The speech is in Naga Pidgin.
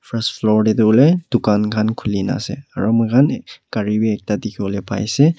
rus flower tetu hoile tugan khan khule kena ase aro moi khan kare beh ekta dekhe bole pare she.